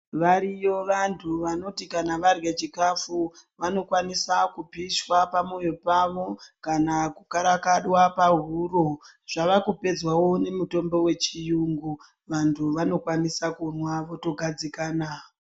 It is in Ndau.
Variyo vantu vanoti kana varya chikafu vanokwanisa kuposhwa pamoyo pavo kana kukarakadwa pahuro. Zvavakupedzwavo nemutombo vechiyungu vantu vanokwanisa kumwa votogadzikana.